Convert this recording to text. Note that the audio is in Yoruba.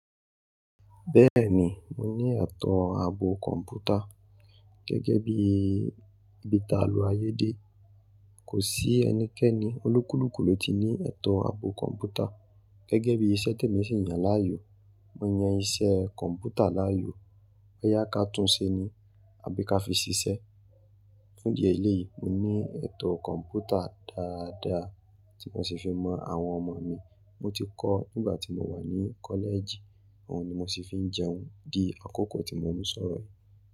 Bẹ́ẹ̀ni, mo ní ẹ̀tọ́ àbò kọ̀m̀pútà gẹ́gẹ́ bí ibítà àlo ayédẹ́. Kò sí ẹnikẹ́ni olókùlkù ló ti ní ẹ̀tọ̀ àbò kọ̀m̀pútà gẹ́gẹ́ bí iṣẹ́ tèmi sì ń yàn láàyò. Mo yan iṣẹ́ kọ̀m̀pútà láàyò, bóyá ká túnṣe ni àbí ká fi ṣiṣẹ́. Fún di ẹlẹ́yìí, mo ní ẹ̀tọ̀ kọ̀m̀pútà dáadáa tí mo sì fi mọ àwọn ọmọ mi. Mo ti kọ́ nígbà tí mo wà ní kọ́lẹ̀jì, òhun ni mo sì fi ń jẹun di àkókò tí mo ń sọ̀rọ̀ yìí.